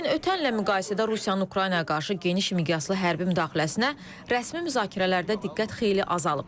Lakin ötən illə müqayisədə Rusiyanın Ukraynaya qarşı geniş miqyaslı hərbi müdaxiləsinə rəsmi müzakirələrdə diqqət xeyli azalıb.